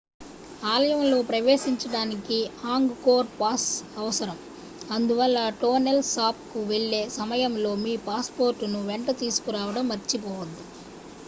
ఆలయంలోకి ప్రవేశించడానికి Angkor pass అవసరం అందువల్ల టోనెల్ సాప్ కు వెళ్లే సమయంలో మీ పాస్ పోర్ట్ ను వెంట తీసుకురావడం మర్చిపోవద్దు